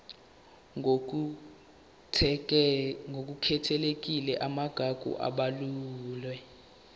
ngokukhethekile amagugu abalulwe